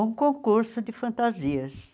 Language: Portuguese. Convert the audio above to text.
um concurso de fantasias.